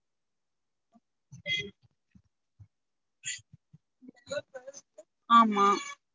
ஆமா